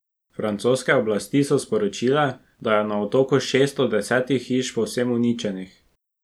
Francoske oblasti so sporočile, da je na otoku šest od desetih hiš povsem uničenih.